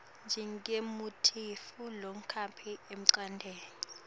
njengemuntfu longaphili engcondvweni